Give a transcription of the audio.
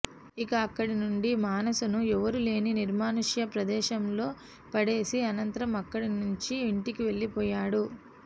ఇక అక్కడి నుండి మానసను ఎవరూ లేని నిర్మానుష్య ప్రదేశంలో పడేసి అనంతరం అక్కడి నుంచి ఇంటికి వెళ్లిపోయాడు